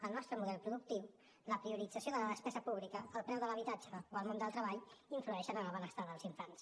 el nostre model productiu la priorització de la despesa pública el preu de l’habitatge o el món del treball influeixen en el benestar dels infants